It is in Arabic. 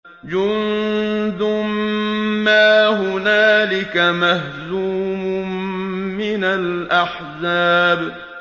جُندٌ مَّا هُنَالِكَ مَهْزُومٌ مِّنَ الْأَحْزَابِ